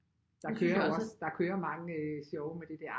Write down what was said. Der kører jo også der kører mange sjove med det der